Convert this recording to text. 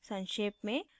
संक्षेप में